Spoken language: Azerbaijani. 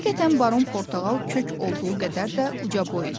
Həqiqətən baron portağal kök olduğu qədər də ucaboy idi.